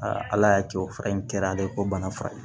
ala y'a kɛ o fura in kɛra ale ye ko bana fura ye